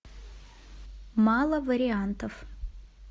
мало вариантов